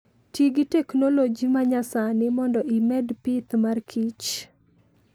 Ti gi teknoloji ma nyasani mondo imed pith mar kich.